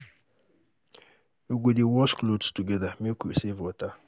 We go dey wash clothes togeda make we save water.